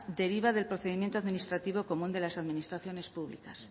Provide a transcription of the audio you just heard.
deriva del procedimiento administrativo común de las administraciones públicas